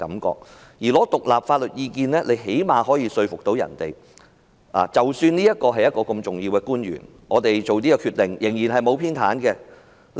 至於尋求獨立法律意見，最低限度可以說服人們，即使案件涉及這位重要的官員，但所作的決定是沒有偏袒的。